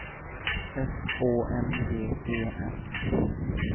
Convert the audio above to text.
S Å N G E N